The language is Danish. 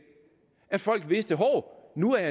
at folk vidste hov nu er